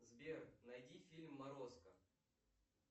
сбер найди фильм морозко